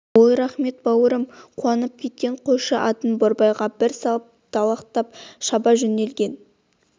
ой рахмет бауырым қуанып кеткен қойшы атын борбайға бір салып далақтап шаба жөнелген